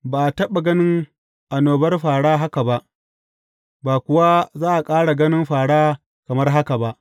Ba a taɓa ganin annobar fāra haka ba, ba kuwa za a ƙara ganin fāra kamar haka ba.